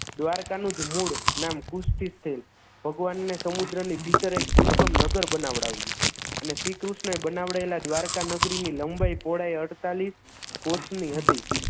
દ્વારકાનું જ મૂળ નામ કુસ્તિસ્થિલ ભગવાનને સમુદ્રની ભીતરે દુર્ગમ નગર બનાવડાવ્યુ અને શ્રીકૃષ્ણએ બનાવેલા દ્વારકા નગરીની લંબાઈ પહોળાઈ અડ્તાલીશ કોષની હતી